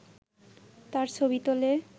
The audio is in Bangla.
তার ছবি তোলে